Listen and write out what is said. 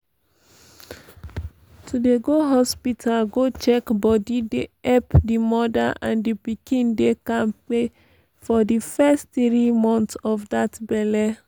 to dey go hospita go check bodi dey epp di moda and di pikin dey kampe for di first tiri months of dat belle.